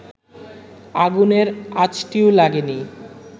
আগুনের আঁচটিও লাগেনি